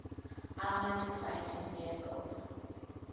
armoured fighting vehicles